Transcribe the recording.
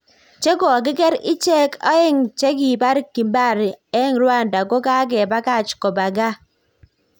Chekokiger icheng aeg che kipar kimbari eng Rwanda ko kagepakach kopa gaa.